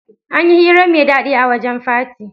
Anyi hira mai dadi a wajan fati